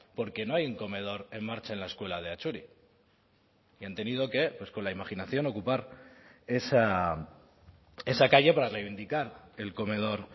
porque no hay un comedor en marcha en la escuela de atxuri y han tenido que pues con la imaginación ocupar esa calle para reivindicar el comedor